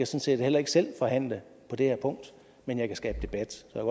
set heller ikke selv forhandle på det her punkt men jeg kan skabe debat jeg